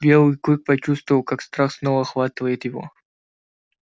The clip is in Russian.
белый клык почувствовал как страх снова охватывает его